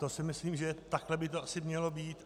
To si myslím, že takhle by to asi mělo být.